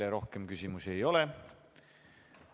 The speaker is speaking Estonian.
Teile rohkem küsimusi ei ole.